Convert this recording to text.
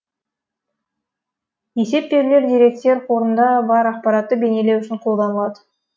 есеп берулер деректер қорында бар ақпаратты бейнелеу үшін қолданылады